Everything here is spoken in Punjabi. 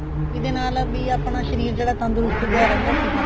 ਇਹਦੇ ਨਾਲ ਬੀ ਆਪਣਾ ਸ਼ਰੀਰ ਜਿਹੜਾ ਤੰਦਰੁਸਤ ਜਿਹਾ ਰਹਿੰਦਾ ਸੀਗਾ